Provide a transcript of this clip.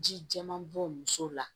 Ji jɛman bɔ muso la